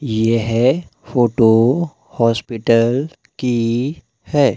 यह photo hospital की है।